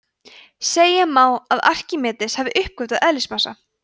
segja má að arkímedes hafi uppgötvað eðlismassa